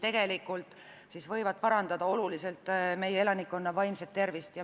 Tegelikult võib see oluliselt meie elanikkonna vaimset tervist parandada.